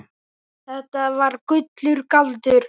Þetta var þá allur galdur.